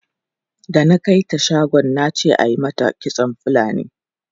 Da na kai ta shagon na ce ayi mata kitson Fulani.